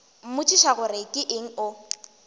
mmotšiša gore ke eng o